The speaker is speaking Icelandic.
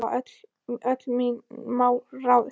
Þannig hafa öll mín mál ráðist.